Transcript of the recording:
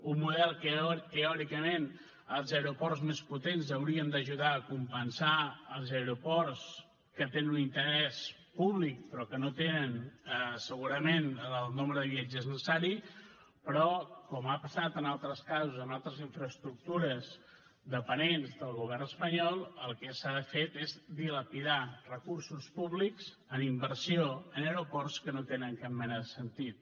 un model en què teòricament els aeroports més potents haurien d’ajudar a compensar els aeroports que tenen un interès públic però que no tenen segurament el nombre de viatgers necessari però com ha passat en altres casos amb altres infraestructures dependents del govern espanyol el que s’ha fet és dilapidar recursos públics en inversió en aeroports que no tenen cap mena de sentit